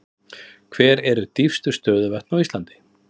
Hver eru dýpstu stöðuvötn á Íslandi?